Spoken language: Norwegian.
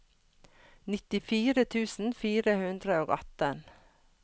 nittifire tusen fire hundre og atten